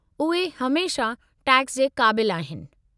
उहे हमेशह टैक्स जे क़ाबिल आहिनि।